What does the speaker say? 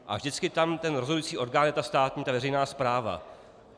A vždycky tam ten rozhodující orgán je ta státní, ta veřejná správa.